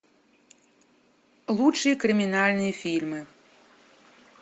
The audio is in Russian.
лучшие криминальные фильмы